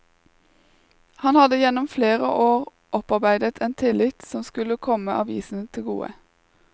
Han hadde gjennom flere år opparbeidet en tillit som skulle komme avisen til gode.